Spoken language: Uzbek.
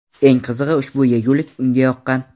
Eng qizig‘i, ushbu yegulik unga yoqqan.